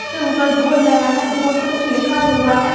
उसपे उपर बोर्ड लगा है। बोर्ड पे कुछ लिखा हुआ है।